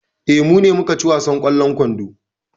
Eh, mu ne muka ci wasan ƙwallon kwando.